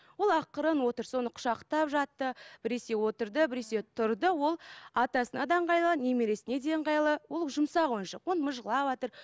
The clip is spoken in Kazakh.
ол ақырын отыр соны құшақтап жатты біресе отырды біресе тұрды ол атасына да ыңғайлы немересіне де ыңғайлы ол жұмсақ ойыншық ол мыжғалаватыр